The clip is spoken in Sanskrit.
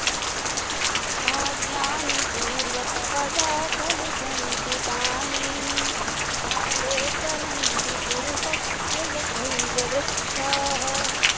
भाग्यानि पूर्वतपसा खलु सञ्चितानि काले फलन्ति पुरुषस्य यथैव वृक्षाः